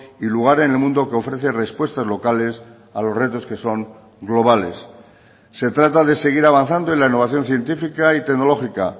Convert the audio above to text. y lugar en el mundo que ofrece respuestas locales a los retos que son globales se trata de seguir avanzando en la innovación científica y tecnológica